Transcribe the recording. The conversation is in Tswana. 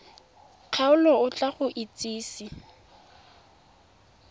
kgaolo o tla go itsise